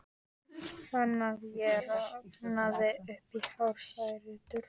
Fann að ég roðnaði upp í hársrætur.